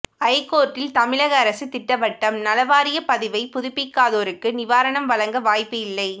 ஐகோர்ட்டில் தமிழக அரசு திட்டவட்டம் நலவாரிய பதிவை புதுப்பிக்காதோருக்கு நிவாரணம் வழங்க வாய்ப்பு இல்லை